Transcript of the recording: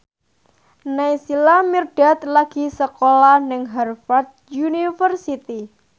Naysila Mirdad lagi sekolah nang Harvard university